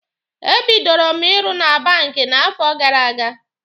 E bidoro m ịrụ na banki n'afọ gara aga.